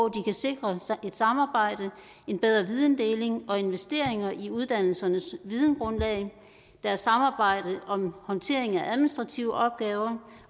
kan sikre et samarbejde en bedre videndeling og investeringer i uddannelsernes videngrundlag deres samarbejde om håndtering af administrative opgaver